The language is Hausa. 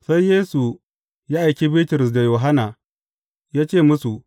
Sai Yesu ya aiki Bitrus da Yohanna, ya ce musu,